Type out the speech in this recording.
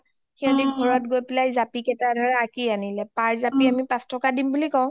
সিহিতে ঘৰত গৈ জাপি কেইটা আঁকি আনিলে per জাপি আমি পাঁচ টকা দিম বুলি কও